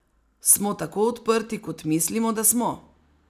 Smo tako odprti, kot mislimo, da smo?